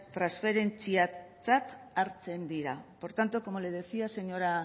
transferentziatzat hartzen dira por tanto como le decía señora